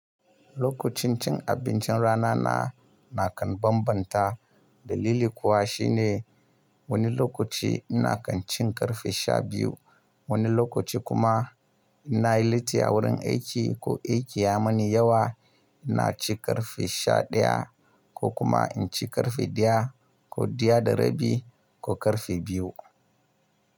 Lokacin cin abincin rana na, nakan bambanta. Dalili kuwa shine wani lokaci ina kan cin ƙarfe sha biyu, wani lokaci kuma in'na yi lasti a wurin aiki ko aiki ya mani yawa, ina ci ƙarfe sha ɗaya ko kuma in ci ƙarfe ɗaya. Ko ɗaya da rabi ko ƙarfe biyu.